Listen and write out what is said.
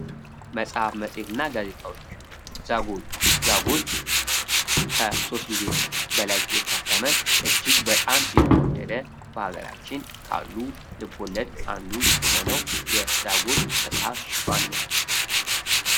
መጽሀፍ መጽሄት እና ጋዜጣወች ዛጉል ዛጉል ከ ሶስት ጊዜ በላይ የታተመ እጅግ በጣም የተወደደ በሀገራችን ካሉ ልብ ወለድ አንዱ የሆነዉ የዛጉል መጽሀፍ ሽፋን ነዉ።